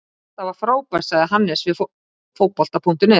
Þetta var frábært, sagði Hannes við Fótbolta.net.